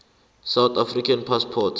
south african passport